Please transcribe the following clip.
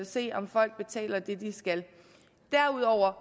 se om folk betaler det de skal derudover